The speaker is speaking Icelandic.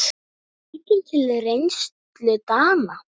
Lítum til reynslu Dana.